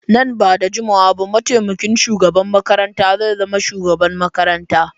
Nan ba da jimawa ba mataimakin shugaban makarantar zai zama shugaban makarantar.